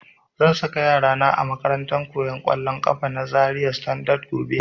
Zan saka yara na a makarantar koyan kollon kafa na Zaria Standard gobe